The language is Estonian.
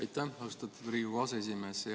Aitäh, austatud Riigikogu aseesimees!